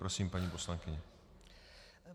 Prosím, paní poslankyně.